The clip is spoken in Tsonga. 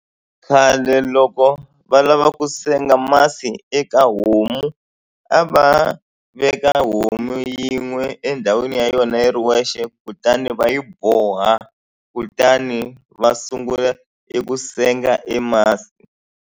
Khale loko va lava ku senga masi eka homu a va veka homu yin'we endhawini ya yona yi ri wexe kutani va yi boha kutani va sungula eku senga e masi.